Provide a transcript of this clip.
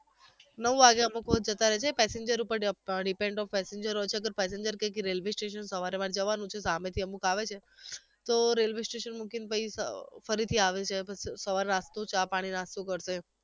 નવ વાગે અમુક વાર જતા રહે છે passenger ઉપર dip dipend of passenger હોય છે અગર passenger કેય કે railway station સવારમાં જવાનું છે સામે થી અમુક આવે છે તો railway station મૂકીને પહી અર ફરીથી આવે છે પછી સવારે નાસ્તો ચા પાણી નાસ્તો કરતે